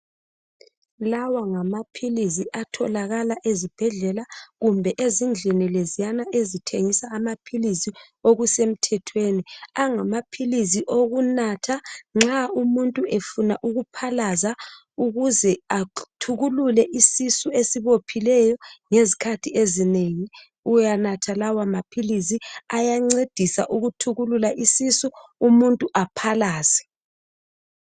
Lawa ngamaphilizi atholakala ezibhedlela. kumbe ezindlini leziyana ezithengisa amaphilizi okusemthethweni. Angamaphizi okunatha, nxa umuntu efuna ukuphalaza, ukuze athukulule isisu esibophileyo. Ngezikhathi ezinengi, uyanatha lawamaphilisi..Ayancedisa ukuthukulula isisu, umuntu aphalaze.